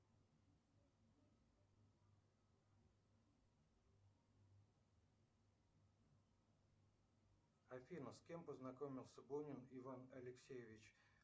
афина с кем познакомился бунин иван алексеевич